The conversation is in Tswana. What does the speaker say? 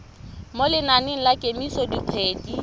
mo lenaneng la kemiso dikgwedi